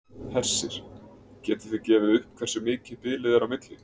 Hersir: Getið þið gefið upp hversu mikið bilið er á milli?